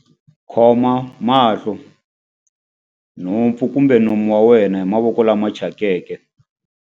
Khoma mahlo, nhompfu kumbe nomo wa wena hi mavoko lama thyakeke.